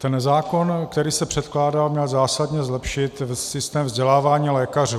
Ten zákon, který se předkládal, měl zásadně zlepšit systém vzdělávání lékařů.